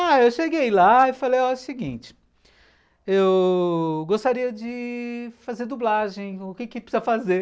Ah, eu cheguei lá e falei o seguinte, eu... gostaria de... fazer dublagem, o que precisa fazer?